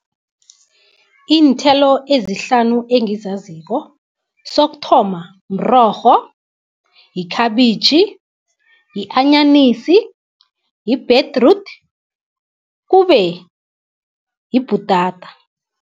Iinthelo ezihlanu engizaziko sokuthoma mrorho, yikhabitjhi, yi-anyanisi, yi-betroot kube yibhutata.